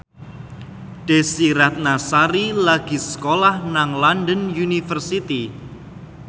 Desy Ratnasari lagi sekolah nang London University